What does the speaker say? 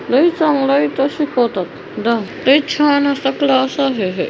यहा पे बहुत लोग भी खड़े है एक दो घर भी है और पेड़ भी है एक नारियल का भी पेड़ है खंबा है और वायर है।